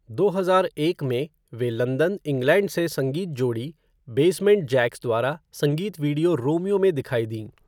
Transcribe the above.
दो हजार एक में, वह लंदन, इंग्लैंड से संगीत जोड़ी बेसमेंट जैक्स द्वारा संगीत वीडियो 'रोमियो' में दिखाई दीं।